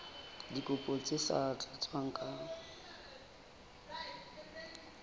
dikopo tse sa tlatswang ka